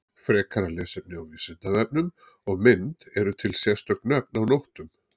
Frekara lesefni á Vísindavefnum og mynd Eru til sérstök nöfn á nóttum?